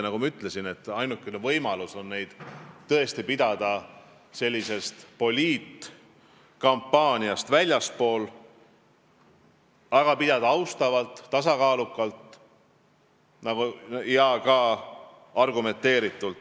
Nagu ma ütlesin, ainukene võimalus on neid debatte pidada poliitkampaaniast väljaspool, pidada neid austavalt, tasakaalukalt ja ka argumenteeritult.